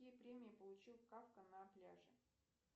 какие премии получил кафка на пляже